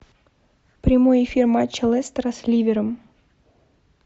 прямой эфир матча лестера с ливером